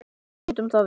Nýtum það vel.